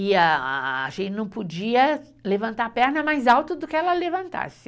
E a a, a gente não podia levantar a perna mais alta do que ela levantasse.